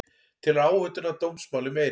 Telur áhættuna af dómsmáli meiri